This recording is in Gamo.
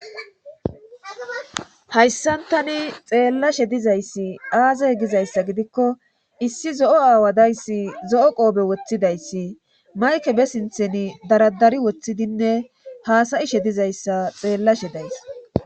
hayssan tani xeellashe dizayssi aaze gizayssa gidikko issi zo7o aawa dayssi zo7o qoobe woththidayssi mayke be sinthen daradari woththidinne haasayishe dizayssa xeellashe days